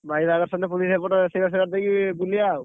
ଭାଇ ବାହାଘର ସରିଲେ ପୁଣି ସେପଟ ରୋଷେଇ ବାସ ସାରି ଦେଇକି ବୁଲିବା ଆଉ।